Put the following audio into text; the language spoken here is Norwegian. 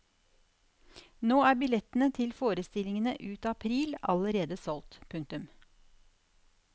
Nå er billettene til forestillingene ut april allerede utsolgt. punktum